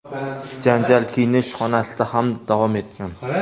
Janjal kiyinish xonasida ham davom etgan.